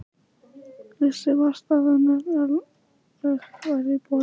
Vissi vart að önnur örlög væru í boði.